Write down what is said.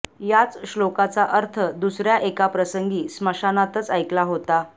याच श्लोकाचा अर्थ दुसऱ्या एका प्रसंगी स्मशानातच ऐकला होता